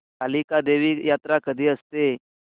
कालिका देवी यात्रा कधी असते